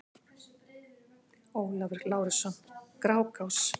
Ólafur Lárusson: Grágás